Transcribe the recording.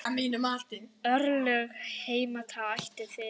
Örlög heimta ætíð sitt.